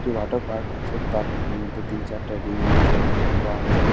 একটি water park আছে তার মধ্যে তিন চারটে রিং আছে ঝুলুয়া আছে --